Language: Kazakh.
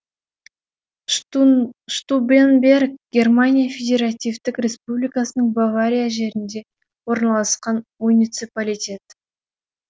штубенберг германия федеративтік республикасының бавария жерінде орналасқан муниципалитет